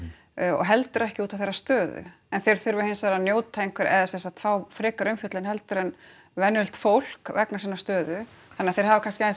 og heldur ekki út af þeirra stöðu en þeir þurfa hins vegar að njóta einhverrar eða sem sagt fá frekari umfjöllun heldur en venjulegt fólk vegna sinnar stöðu þannig að þeir hafa kannski aðeins